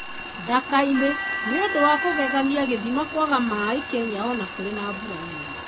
Ndakainĩ: Nĩũndũ wa kũgegania gĩthĩma kwaga maaĩ Kenya o na kũrĩ na mbura nene.